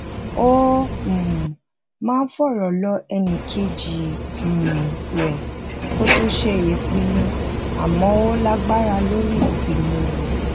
ó um máa ń fòrò lọ ẹnì kejì um re kó tó ṣe ìpinnu àmo ó lagbara lori ìpinnu rè